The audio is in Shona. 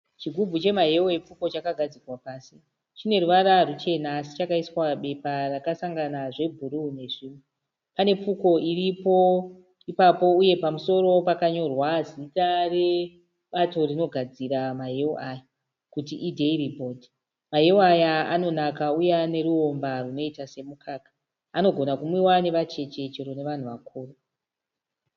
Chigubhu chemaheyu epfuko chakagadzikwa pasi. Chine ruvara ruchena asi chakaiswa bepa rakasangana zvebhuruu nezvimwe. Pane pfuko iripo ipapo uye pamusoro pakanyorwa zita rebato rinogadzira maheu aya kuti iDheiribhodhi. Maheu aya anonaka uye ane ruomba runoita semukaka. Anogona kunwiwa nevacheche chero nevanhu vakuru.